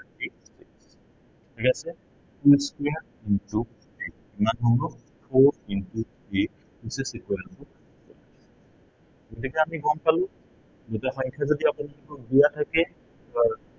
ঠিক আছে। two square into eight কিমান হব four into three গতিকে আমি গম পালো, দুটা সংখ্যা যদি আপোনালোকক দিয়া থাকে, বা